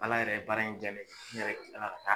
Ala yɛrɛ ye baara in diya ne ye, n yɛrɛ kila la ka taa.